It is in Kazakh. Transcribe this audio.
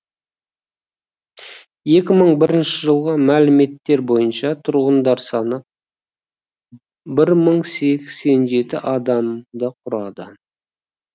екі мың бірінші жылғы мәліметтер бойынша тұрғындарының саны бір мың сексен жеті адамды құрайды